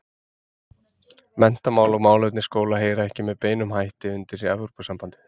Menntamál og málefni skóla heyra ekki með beinum hætti undir Evrópusambandið.